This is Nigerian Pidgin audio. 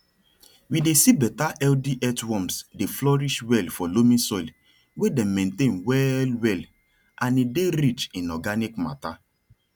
we dey see better healthy earthworms dey flourish well for loamy soil wey dem maintain well well and e dey rich in organic matter